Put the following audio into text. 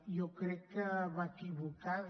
jo crec que va equivocada